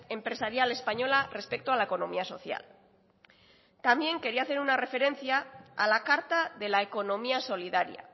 empresarial española respecto a la economía social también quería hacer una referencia a la carta de la economía solidaria